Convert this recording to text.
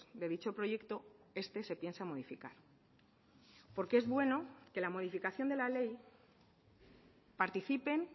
de dicho proyecto este se piensa modificar porque es bueno que la modificación de la ley participen